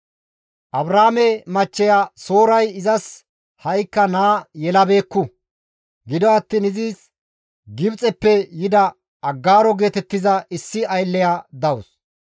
Abraame machcheya Sooray izas ha7ikka naa yelabeekku; gido attiin izis Gibxeppe yida Aggaaro geetettiza issi aylleya dawus.